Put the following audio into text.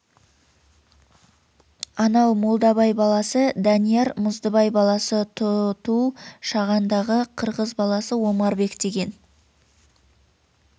анау молдабай баласы дәнияр мұздыбай баласы тұу-тұу шағандағы қырғыз баласы омарбек деген